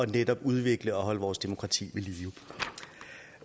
netop at udvikle og holde vores demokrati